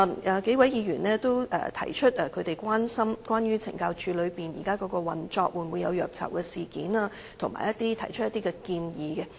有數位議員剛才發言時均提出關注懲教署現時在運作上會否出現虐囚事件，以及提出建議。